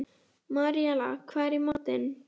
Maríella, hvað er í matinn?